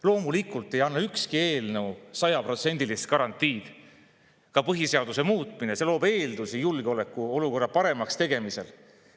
Loomulikult ei anna ükski eelnõu sajaprotsendilist garantiid, seda ei anna ka põhiseaduse muutmine, see loob aga eeldusi julgeolekuolukorra paremaks tegemiseks.